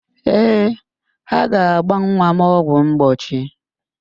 Ee, ha ga-agba nwa m ọgwụ mgbochi.